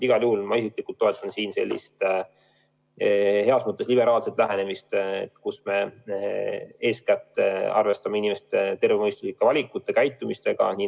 Igal juhul ma isiklikult toetan heas mõttes liberaalset lähenemist, mille puhul me eeskätt arvestame inimeste tervemõistuslike valikute ja käitumisega.